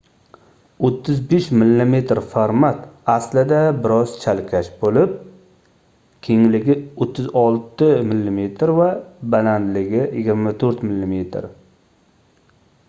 35 mm format aslida bir oz chalkash boʻlib kengligi 36 mm va balandligi 24 mm